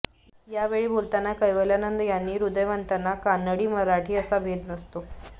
यावेळी बोलताना कैवल्यानंद यांनी हृदयवंताला कानडी मराठी असा भेद नसतो